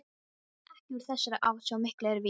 Ekki úr þessari átt, svo mikið er víst.